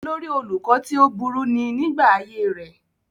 olórí olùkọ́ tí ó burú ni nígbà ayé rẹ̀